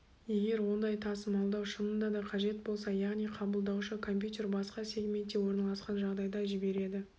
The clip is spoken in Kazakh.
егер ондай тасымалдау шынында да қажет болса яғни қабылдаушы компьютер басқа сегментте орналасқан жағдайда жібереді